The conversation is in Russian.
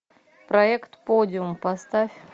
проект подиум поставь